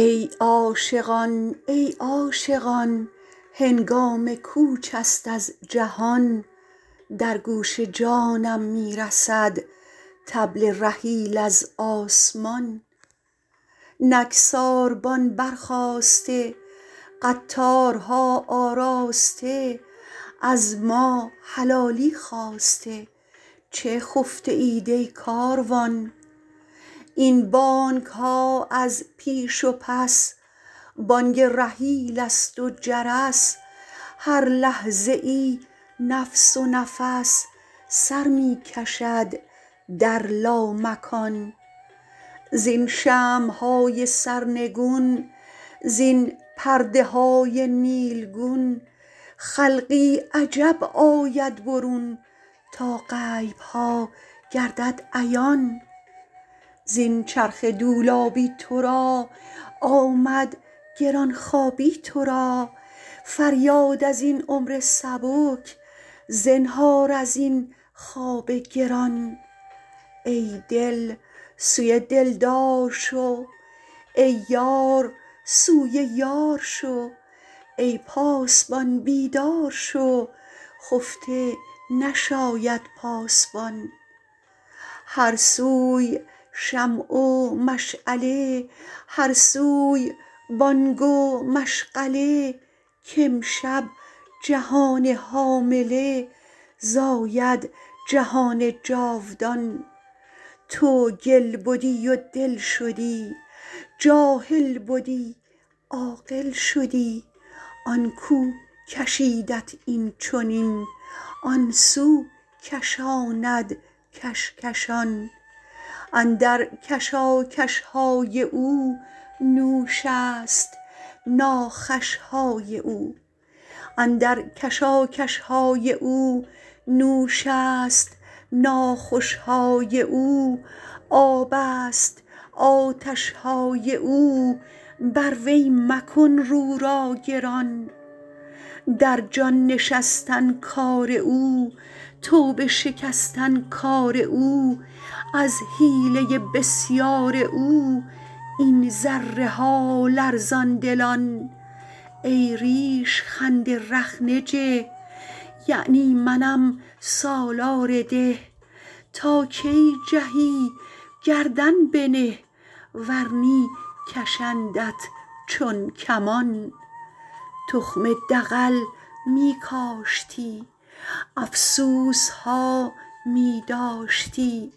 ای عاشقان ای عاشقان هنگام کوچ است از جهان در گوش جانم می رسد طبل رحیل از آسمان نک ساربان برخاسته قطارها آراسته از ما حلالی خواسته چه خفته اید ای کاروان این بانگ ها از پیش و پس بانگ رحیل است و جرس هر لحظه ای نفس و نفس سر می کشد در لامکان زین شمع های سرنگون زین پرده های نیلگون خلقی عجب آید برون تا غیب ها گردد عیان زین چرخ دولابی تو را آمد گران خوابی تو را فریاد از این عمر سبک زنهار از این خواب گران ای دل سوی دلدار شو ای یار سوی یار شو ای پاسبان بیدار شو خفته نشاید پاسبان هر سوی شمع و مشعله هر سوی بانگ و مشغله کامشب جهان حامله زاید جهان جاودان تو گل بدی و دل شدی جاهل بدی عاقل شدی آن کو کشیدت این چنین آن سو کشاند کش کشان اندر کشاکش های او نوش است ناخوش های او آب است آتش های او بر وی مکن رو را گران در جان نشستن کار او توبه شکستن کار او از حیله بسیار او این ذره ها لرزان دلان ای ریش خند رخنه جه یعنی منم سالار ده تا کی جهی گردن بنه ور نی کشندت چون کمان تخم دغل می کاشتی افسوس ها می داشتی